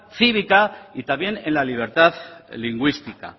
cívica y también en la libertad lingüística